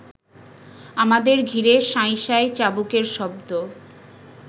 আমাদের ঘিরে শাঁই শাঁই চাবুকের শব্দ